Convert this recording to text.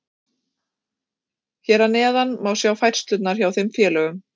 Hér að neðan má sjá færslurnar hjá þeim félögum.